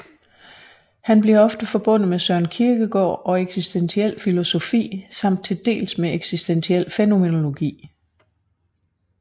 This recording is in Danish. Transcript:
Han bliver ofte forbundet med Søren Kierkegaard og eksistentiel filosofi samt til dels med eksistentiel fænomenologi